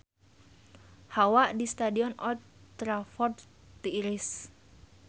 Hawa di Stadion Old Trafford tiris